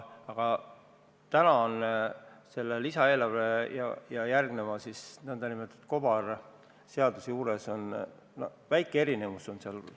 Aga täna on selle lisaeelarve ja järgneva nn kobarseaduse juures väike erinevus.